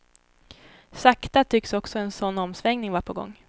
Sakta tycks också en sådan omsvängning vara på gång.